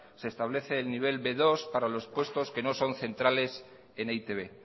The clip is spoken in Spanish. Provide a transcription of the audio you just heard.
se estable el nivel be dos para los puestos que no son centrales en e i te be